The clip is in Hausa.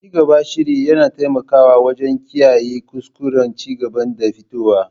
Cigaban shiri yana taimakawa wajen kiyaye kuskuren cigaban da fitowa.